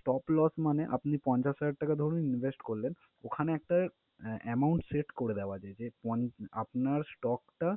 Stop loss মানে আপনি পঞ্চাশ হাজার টাকা ধরুন invest করলেন, ওখানে একটা আহ amount set করে দেওয়া যায় যে পঞ্চ~ আপনার stock টা